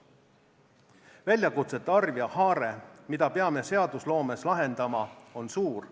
Väljakutsete arv ja haare, mida peame seadusloomes lahendama, on suur.